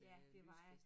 Ja det var jeg